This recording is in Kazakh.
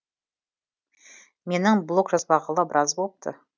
менің блог жазбағалы біраз болыпты